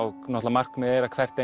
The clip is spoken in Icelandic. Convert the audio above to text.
markmiðið er að hvert